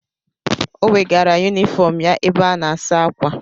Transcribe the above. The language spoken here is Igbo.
Ọ wegara yunifọm ya ebe a na-asa ákwà.